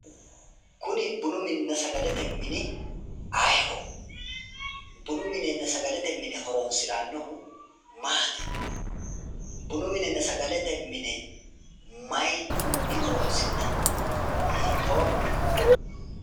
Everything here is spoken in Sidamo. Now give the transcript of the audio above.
Kuni bununna sagalete mini ayeeho? Bununna sagalete mine horonsirannohu maati? Bununna sagalete mine mayinni horonsi'nanni ? Hiittooho?